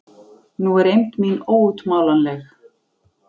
Nú er eymd mín óútmálanleg.